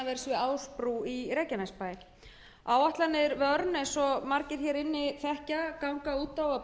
við ásbrú í reykjanesbæ áætlanir vernes eins og margir hér inni þekkja ganga út á að